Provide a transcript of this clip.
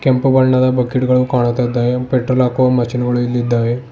ಕೆಂಪು ಬಣ್ಣದ ಬಕೆಟ್ ಗಳು ಕಾಣುತ್ತ ಇದ್ದಾವೆ ಪೆಟ್ರೊಲ್ ಹಾಕುವ ಮಷಿನ್ ಗಳು ಇಲ್ಲಿ ಇದ್ದಾವೆ.